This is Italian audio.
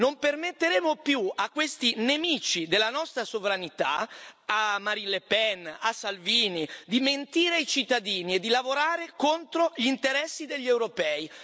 Non permetteremo più a questi nemici della nostra sovranità, a Marine Le Pen o a Matteo Salvini, di mentire ai cittadini e di lavorare contro gli interessi degli europei.